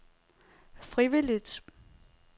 frivilligt